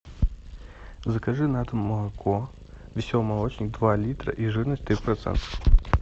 закажи на дом молоко веселый молочник два литра и жирность три процента